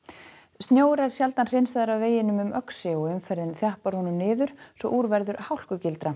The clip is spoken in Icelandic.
snjór er sjaldan hreinsaður af veginum um Öxi og umferðin þjappar honum niður svo úr verður